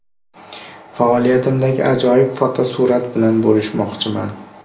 Faoliyatimdagi ajoyib fotosurat bilan bo‘lishmoqchiman.